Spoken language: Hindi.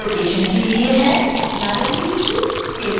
नारंगी बिंदु स्केलिंग के लिए है